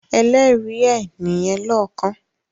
“ Ẹlẹ́rìí” ẹ nìyẹn lọ́kàn